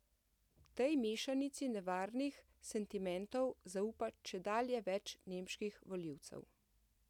Tej mešanici nevarnih sentimentov zaupa čedalje več nemških volivcev.